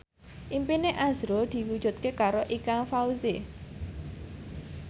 impine azrul diwujudke karo Ikang Fawzi